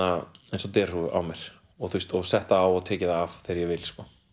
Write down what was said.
eins og derhúfu og sett það á og tekið það af þegar ég vil